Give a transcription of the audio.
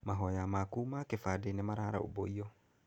Mahoya maku ma kĩbandĩ nĩmararũmbũiyo.